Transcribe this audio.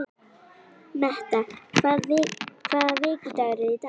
Metta, hvaða vikudagur er í dag?